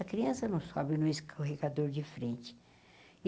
A criança não sobe no escorregador de frente.